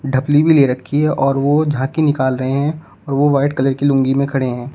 ढपली भी ले रखी है और वो झांकी निकाल रहे हैं और वो व्हाइट कलर कि लूंगी में खड़े हैं।